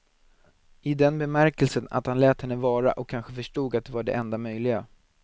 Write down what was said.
I den bemärkelsen att han lät henne vara, och kanske förstod att det var det enda möjliga.